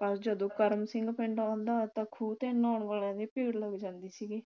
ਪਰ ਜਦੋਂ ਕਰਮ ਸਿੰਘ ਪਿੰਡ ਆਉਂਦਾ ਤਾਂ ਖੂਹ ਤੇ ਨ੍ਹਾਉਣ ਵਾਲਿਆਂ ਦੀ ਭੀੜ ਲੱਗ ਜਾਂਦੀ ਸੀ